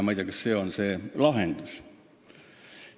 Ma ei tea, kas see on hea lahendus.